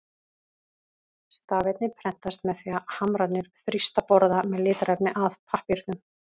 Stafirnir prentast með því að hamrarnir þrýsta borða með litarefni að pappírnum.